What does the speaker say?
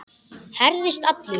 Herðist allur.